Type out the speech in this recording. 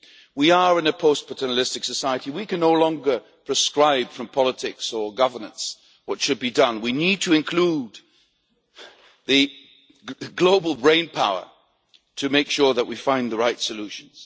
We are in a post paternalistic society and we can no longer prescribe, from politics or governance, what should be done we need to include global brain power to make sure that we find the right solutions.